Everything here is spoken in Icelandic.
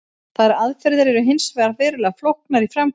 Þær aðferðir eru hins vegar verulega flóknar í framkvæmd.